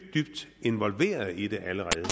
involveret i det